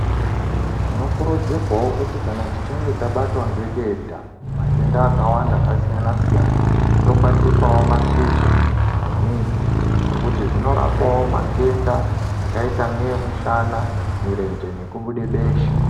Tino kurudzirwawo kuti kana tichinge tabatwa nge denda matenda aka wanda aka siyana siyana tokwatisawo ma shizha ne midzi nekuti zvino rapawo matenda akaita ngee mushana mirenge neku bude besha.